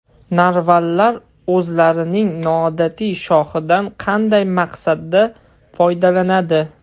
Narvallar o‘zlarining noodatiy shoxidan qanday maqsadda foydalanadi?.